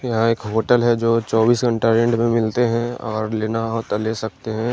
यहां एक होटल है जो चौबीस घंटा रेंट में मिलते हैं और लेना हो तो ले सकते हैं।